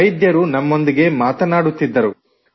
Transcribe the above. ವೈದ್ಯರು ನಮ್ಮೊಂದಿಗೆ ಮಾತನಾಡುತ್ತಿದ್ದರು